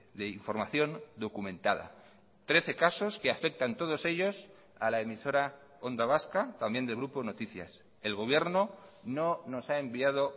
de información documentada trece casos que afectan todos ellos a la emisora onda vasca también del grupo noticias el gobierno no nos ha enviado